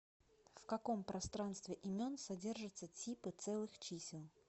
в каком пространстве имен содержатся типы целых чисел